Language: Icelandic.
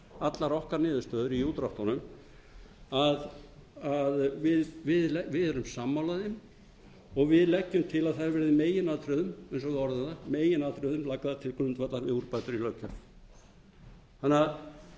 allar okkar niðurstöður í útdráttunum að við erum sammála þeim og við leggjum til að þær verði í meginatriðum eins og við orðum það í meginatriðum lagðar til grundvallar við úrbætur í löggjöf